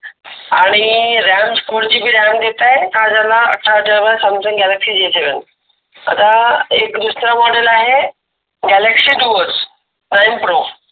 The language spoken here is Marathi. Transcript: आणि four GB ram अठरा हजारला, अठरा हजारला Samsung galaxy J seven आता एक दुसर Model आहे Galaxy duos prime pro.